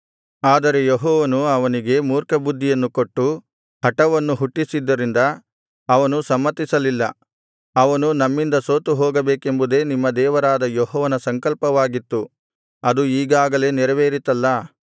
ಆದರೆ ಯೆಹೋವನು ಅವನಿಗೆ ಮೂರ್ಖಬುದ್ಧಿಯನ್ನು ಕೊಟ್ಟು ಹಟವನ್ನು ಹುಟ್ಟಿಸಿದ್ದರಿಂದ ಅವನು ಸಮ್ಮತಿಸಲಿಲ್ಲ ಅವನು ನಿಮ್ಮಿಂದ ಸೋತುಹೋಗಬೇಕೆಂಬುದೇ ನಿಮ್ಮ ದೇವರಾದ ಯೆಹೋವನ ಸಂಕಲ್ಪವಾಗಿತ್ತು ಅದು ಈಗಾಗಲೇ ನೆರವೇರಿತಲ್ಲಾ